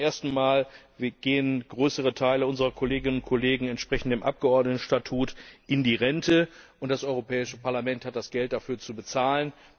Zum ersten Mal gehen größere Teile unserer Kolleginnen und Kollegen entsprechend dem Abgeordneten Statut in die Rente, und das Europäische Parlament hat das Geld dafür zu bezahlen.